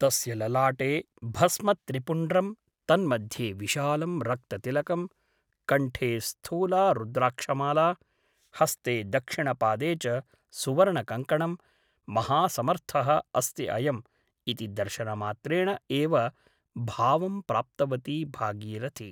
तस्य ललाटे भस्मत्रिपुण्ड्रम् तन्मध्ये विशालं रक्ततिलकम् । कण्ठे स्थूला रुद्राक्षमाला । हस्ते दक्षिणपादे च सुवर्णकङ्कणम् । महासमर्थः अस्ति अयम् ' इति दर्शनमात्रेण एव भावं प्राप्तवती भागीरथी ।